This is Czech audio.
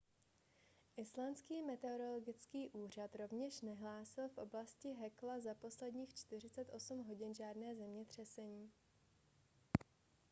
islandský meteorologický úřad rovněž nehlásil v oblasti hekla za posledních 48 hodin žádné zemětřesení